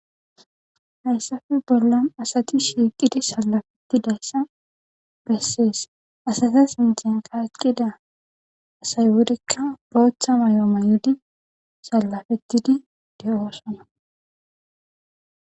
Hayssafe bollan asati shiiqidi salafettidayssa bessees asata sinten ka eqqida asay wurikka bootha may'ooma yudi sallafettidi de'oosona.